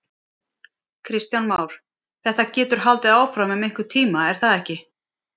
Kristján Már: Þetta getur haldið áfram um einhvern tíma er það ekki?